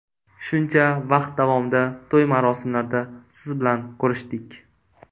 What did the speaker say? Shuncha vaqt davomida to‘y-marosimlarda siz bilan ko‘rishdik.